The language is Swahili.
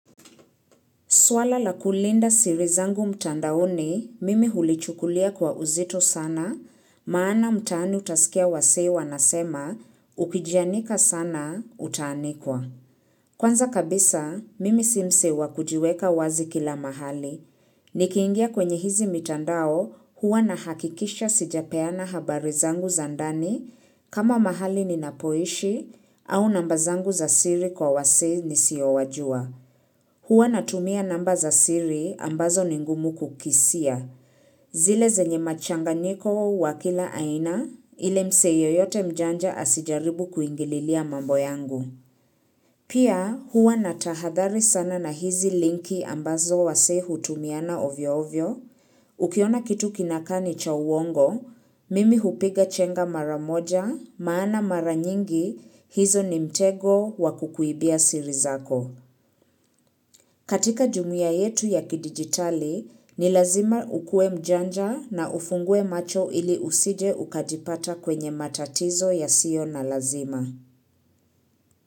Swala la kulinda siri zangu mtandaoni, mimi hulichukulia kwa uzito sana, maana mtaani utasikia wasee wanasema, ukijianika sana, utaanikwa. Kwanza kabisa, mimi si msee wa kujiweka wazi kila mahali. Nikiingia kwenye hizi mitandao huwa nahakikisha sijapeana habari zangu za ndani kama mahali ninapoishi au namba zangu za siri kwa wasee nisiowajua. Hua natumia namba za siri ambazo ni ngumu kukisia. Zile zenye machanganyiko wa kila aina ile msee yoyote mjanja asijaribu kuingililia mambo yangu. Pia hua natahadhari sana na hizi linki ambazo wasee hutumiana ovyo ovyo. Ukiona kitu kinakaa ni cha uongo, mimi hupiga chenga mara moja maana mara nyingi hizo ni mtego wa kukuibia siri zako. Katika jumuia yetu ya kidigitali, ni lazima ukue mjanja na ufungue macho ili usije ukajipata kwenye matatizo yasio na lazima.